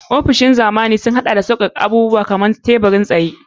Ofisoshi na zamani galibi sun haɗa da zaɓuɓɓukan aiki masu sassauƙa kamar tebur-tsaye.